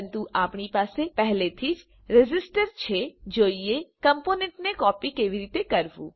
પરંતુ આપણી પાસે પહેલેથી જ રેઝિસ્ટર છે તેથી ચાલો જોઈએ કમ્પોનન્ટને કોપી કેવી રીતે કરવું